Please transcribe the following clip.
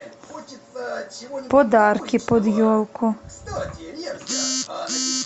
подарки под елку